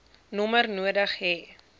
nommer nodig hê